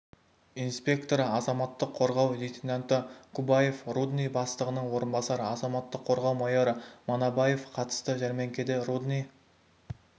инспекторы азаматтық қорғау лейтенанты кубаев рудный бастығының орынбасары азаматтық қорғау майоры манабаев қатысты жармеңкеде рудный